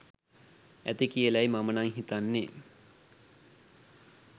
ඇති කියලයි මම නම් හිතන්නේ.